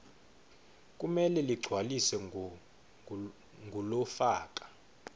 kumele ligcwaliswe ngulofaka